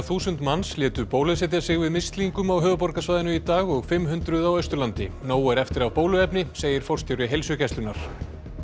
þúsund manns létu bólusetja sig við mislingum á höfuðborgarsvæðinu í dag og fimm hundruð á Austurlandi nóg er eftir af bóluefni segir forstjóri Heilsugæslunnar